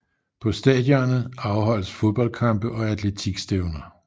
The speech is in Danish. På stadionet afholdes fodboldkampe og atletikstævner